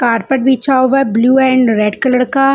का रर्पट बिछा हुआ है ब्लू एंड रेड कलर का।